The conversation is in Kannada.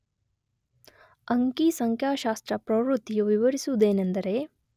ಅಂಕಿ ಸಂಖ್ಯಾಶಾಸ್ತ್ರ ಪ್ರವೃತ್ತಿಯು ವಿವರಿಸುವುದೇನೆಂದರೆ